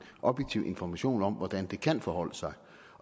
objektiv information om hvordan det kan forholde sig